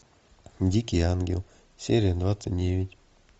дикий ангел серия двадцать девять